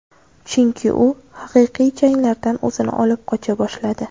Chunki u haqiqiy janglardan o‘zini olib qocha boshladi.